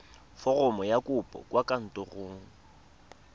foromo ya kopo kwa kantorong